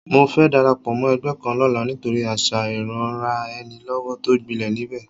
Mo fẹ́ darapọ̀ mọ́ ẹgbẹ́ kan lọ́la nítorí àṣà ìranraẹnilọ́wọ́ tó gbilẹ̀ níbẹ̀